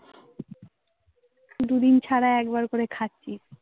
দুদিন ছাড়া একবার করে খাচ্ছি